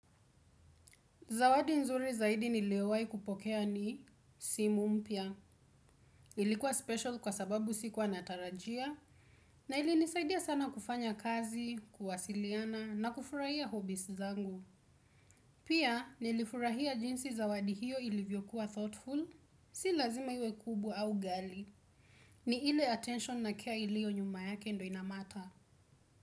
Zawadi nzuri zaidi niliyowai kupokea ni simu mpya. Ilikuwa special kwa sababu sikuwa natarajia. Na ilinisaidia sana kufanya kazi, kuwasiliana na kufurahia hobbies zangu. Pia nilifurahia jinsi zawadi hiyo ilivyokuwa thoughtful. Si lazima iwe kubwa au ghali. Ni ile attention na care iliyo nyuma yake ndo inamatter.